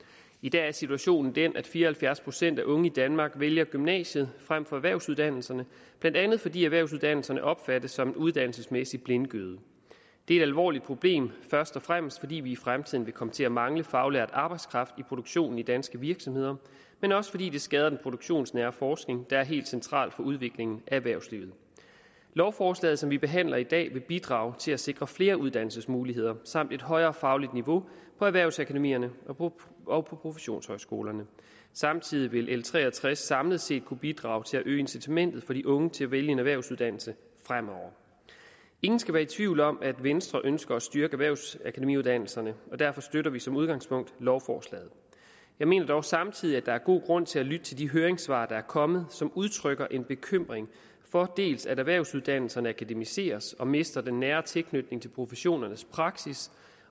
i dag er situationen den at fire og halvfjerds procent af unge i danmark vælger gymnasiet frem for erhvervsuddannelserne blandt andet fordi erhvervsuddannelserne opfattes som en uddannelsesmæssig blindgyde det er et alvorligt problem først og fremmest fordi vi i fremtiden vil komme til at mangle faglært arbejdskraft i produktionen i danske virksomheder men også fordi det skader den produktionsnære forskning der er helt central for udviklingen af erhvervslivet lovforslaget som vi behandler i dag vil bidrage til at sikre flere uddannelsesmuligheder samt et højere fagligt niveau på erhvervsakademierne og på professionshøjskolerne samtidig vil l tre og tres samlet set kunne bidrage til at øge incitamentet for de unge til at vælge en erhvervsuddannelse fremover ingen skal være tvivl om at venstre ønsker at styrke erhvervsakademiuddannelserne og derfor støtter vi som udgangspunkt lovforslaget jeg mener dog samtidig at der er god grund til at lytte til de høringssvar der er kommet som udtrykker en bekymring for dels at erhvervsuddannelserne akademiseres og mister den nære tilknytning til professionernes praksis